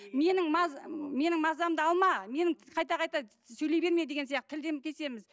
менің менің мазамды алма менің қайта қайта сөйлей берме деген сияқты тілден кесеміз